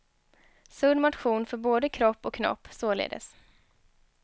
Sund motion för både kropp och knopp, således.